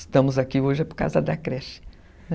Estamos aqui hoje por causa da creche, né?